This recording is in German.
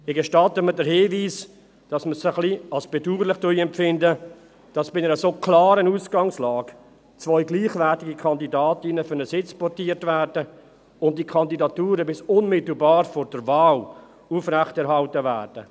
Ich gestatte mir den Hinweis, dass wir es als etwas bedauerlich empfinden, dass bei einer so klaren Ausgangslage zwei gleichwertige Kandidatinnen für einen Sitz portiert werden und die Kandidaturen bis unmittelbar vor der Wahl aufrechterhalten werden.